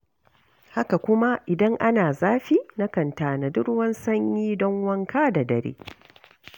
Haka kuma idan ana zafi na kan tanadi ruwan sanyi don wanka da dare.